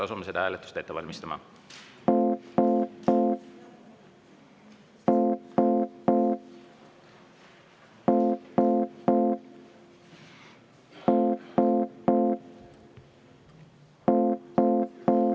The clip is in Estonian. Asume seda hääletust ette valmistama.